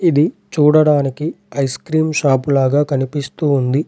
ఇది చూడడానికి ice cream shop లాగా కనిపిస్తూ ఉంది.